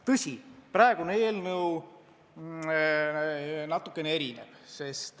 Tõsi, praegune eelnõu on natukene erinev.